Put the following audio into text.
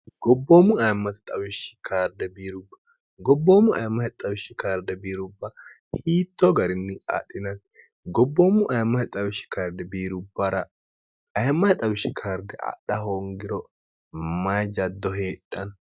gbbomwgobboommu mm xwshsh karde biirubba hiitto garinni adhinati gobboommu amm xwishsh karde biirubbara mm xwishshi karde adha hoongiro mayi jaddo heedhann